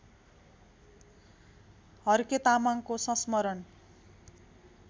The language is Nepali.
हर्के तामाङको संस्मरण